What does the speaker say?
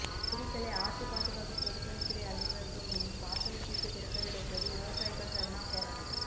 குளித்தலை ஆற்று பாதுகாப்பு பொதுப்பணித்துறை அலுவலகம் முன் பாசனத்திற்கு திறக்கவிட கோரி விவசாயிகள் தர்ணா போராட்டம்